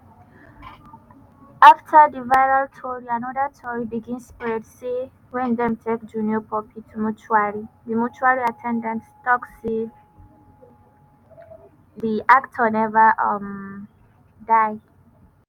afta di viral tori anoda tori begin spread say wen dem take junior pope to mortuary di mortuary at ten dant tok say di actor neva um die.